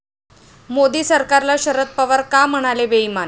मोदी सरकारला शरद पवार का म्हणाले बेईमान?